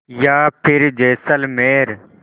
या फिर जैसलमेर